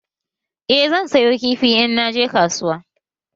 Eh zan sayo kifi in naje kasuwa